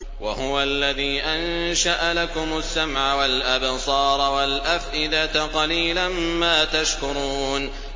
وَهُوَ الَّذِي أَنشَأَ لَكُمُ السَّمْعَ وَالْأَبْصَارَ وَالْأَفْئِدَةَ ۚ قَلِيلًا مَّا تَشْكُرُونَ